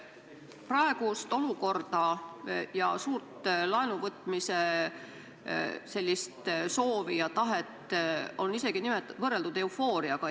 Praegust olukorda ja suurt laenuvõtmise soovi ja tahet on võrreldud isegi eufooriaga.